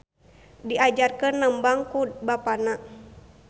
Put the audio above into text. Diajarkeun nembang ku bapana.